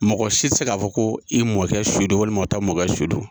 Mɔgɔ si tɛ se k'a fɔ ko i mɔkɛ su don walima tɛ mɔkɛ su don.